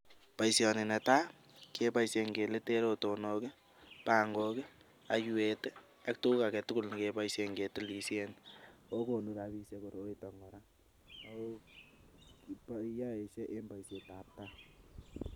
Boisioni netai keboisien keliten rotonok, pangok, oiywet, ak tuguk alak tugul che kiboisien ketilisien. Ago konu rabisiek koroito kora, yoe en boisietab gaa.